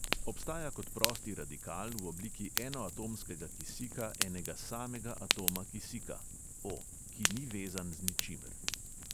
Obstaja kot prosti radikal v obliki enoatomskega kisika enega samega atoma kisika (o|), ki ni vezan z ničimer.